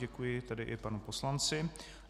Děkuji tedy i panu poslanci.